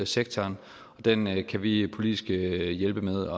sektoren og den kan vi politisk hjælpe med